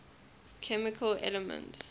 chemical elements